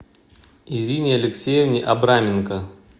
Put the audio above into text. ирине алексеевне абраменко